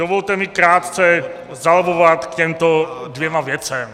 Dovolte mi krátce zalobbovat k těmto dvěma věcem.